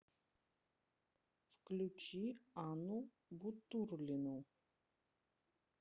включи анну бутурлину